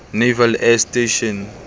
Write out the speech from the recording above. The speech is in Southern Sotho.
naval air station